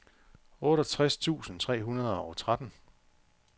otteogtres tusind tre hundrede og tretten